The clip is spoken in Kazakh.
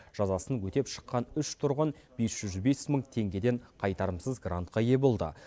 жазасын өтеп шыққан үш тұрғын бес жүз бес мың теңгеден қайтарымсыз грантқа ие болды